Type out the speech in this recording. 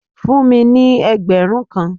Fún mi ní ẹgbẹ̀rún kan!